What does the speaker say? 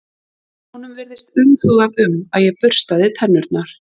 Honum virtist umhugað um að ég burstaði tennurnar.